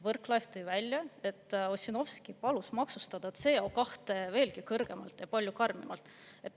Võrklaev tõi välja, et Ossinovski palus maksustada CO2 veelgi kõrgemalt ja palju karmimalt.